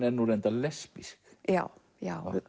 er nú reyndar lesbísk já já